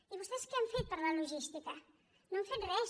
i vostès què han fet per la logística no han fet res